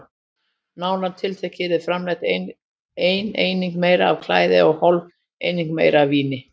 Nánar tiltekið yrði framleitt einni einingu meira af klæði og hálfri einingu meira af víni.